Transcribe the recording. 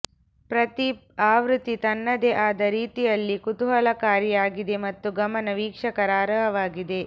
ಪ್ರತಿ ಆವೃತ್ತಿ ತನ್ನದೇ ಆದ ರೀತಿಯಲ್ಲಿ ಕುತೂಹಲಕಾರಿಯಾಗಿದೆ ಮತ್ತು ಗಮನ ವೀಕ್ಷಕರ ಅರ್ಹವಾಗಿದೆ